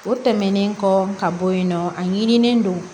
O tɛmɛnen kɔ ka bɔ yen nɔ a ɲinilen don